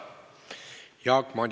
Vabandus on vastu võetud.